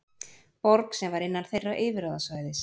Borg sem var innan þeirra yfirráðasvæðis.